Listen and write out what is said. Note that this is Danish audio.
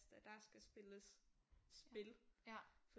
Der skal spilles spil